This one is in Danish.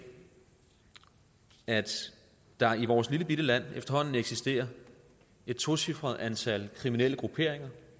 at der i vores lillebitte land efterhånden eksisterer et tocifret antal kriminelle grupperinger